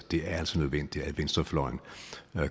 er altså nødvendigt at venstrefløjen